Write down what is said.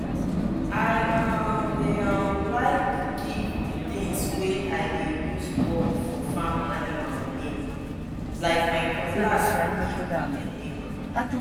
i um dey um like give di tins wey i dey use work for farm animal name like my cutlass na eagle i name am.